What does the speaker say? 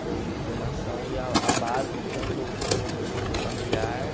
na minha formação e a a base, tanto como eu disse, familiar...